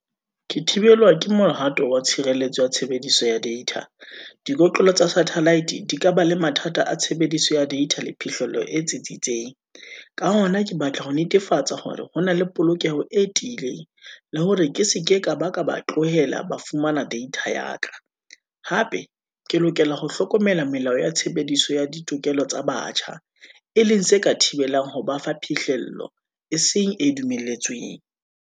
Ke thibelwa ke mohato wa tshireletso ya tshebediso ya data. Dibotlolo tsa satellite di ka ba le mathata a tshebediso ya data, le phihlello e tsitsitseng. Ka hona, ke batla ho netefatsa hore ho na le polokeho e tiileng, le hore ke seke ka ba ka ba tlohela ba fumana data ya ka, hape ke lokela ho hlokomela melao ya tshebediso ya ditokelo tsa batjha, e leng se ka thibelang ho ba fa phihlello, e seng e dumelletsweng.